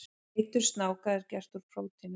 Eitur snáka er gert úr prótínum.